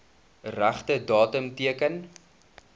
regte datum teken